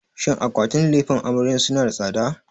Shin akwatin lefen amaryar suna da tsada?